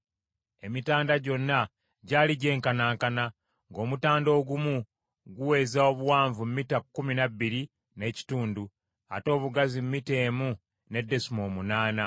Emitanda gyonna gyali gyenkanankana; ng’omutanda ogumu guweza obuwanvu mita kkumi na bbiri n’ekitundu, ate obugazi mita emu ne desimoolo munaana.